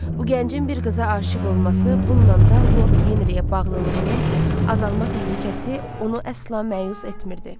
Bu gəncin bir qıza aşiq olması, bununla da Lord Henriyə bağlılığının azalma təhlükəsi onu əsla məyus etmirdi.